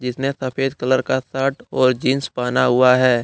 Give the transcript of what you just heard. इसने सफेद कलर का शर्ट और जींस पहना हुआ है।